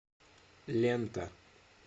лента